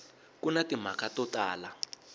ku na timhaka to tala